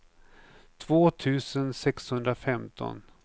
två tusen sexhundrafemton